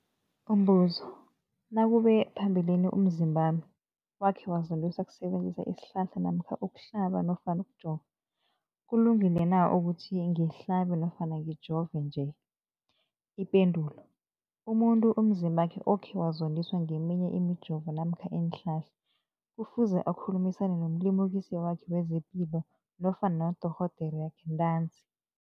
Umbuzo, nakube phambilini umzimbami wakhe wazondiswa kusebenzisa isihlahla namkha ukuhlaba nofana ukujova, kulungile na ukuthi ngihlabe nofana ngijove nje? Ipendulo, umuntu umzimbakhe okhe wazondiswa ngeminye imijovo namkha iinhlahla kufuze akhulumisane nomlimukisi wakhe wezepilo nofana nodorhoderakhe ntanzi.